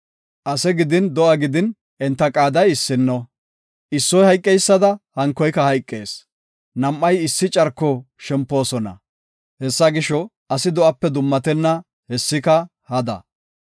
Ase gidin, do7a gidin, enta qaaday issino; issoy hayqeysada, hankoyka hayqees. Nam7ay issi carko shempoosona; hessa gisho, asi do7ape dummatenna; hessika hada.